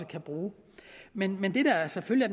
kan bruge men men det der selvfølgelig